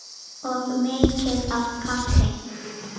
Og mikið af kaffi.